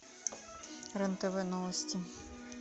рен тв новости